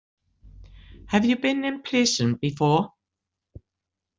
Have you been in prison before?